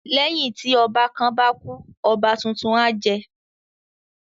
Lẹ́yìn tí ọba kan bá kú, ọba tuntun á jẹ